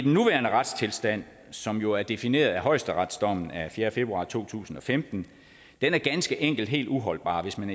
nuværende retstilstand som jo er defineret af højesteretsdommen af fjerde februar to tusind og femten er ganske enkelt helt uholdbar hvis man